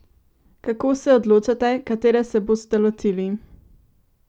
Kako se odločate, katere se boste lotili?